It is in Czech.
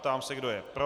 Ptám se, kdo je pro.